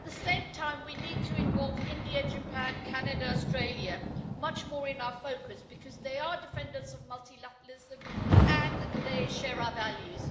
At the same time, we need to involve, India, Japan, Canada, Australia, much more in our focus, because they are defenders of multilateralism and they share our values.